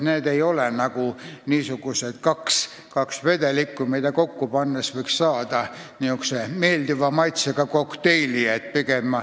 Need ei ole nagu kaks vedelikku, mida kokku pannes võiks saada meeldiva maitsega kokteili.